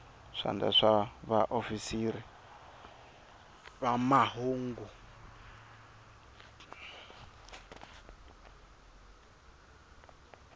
swandla swa vaofisiri va mahungu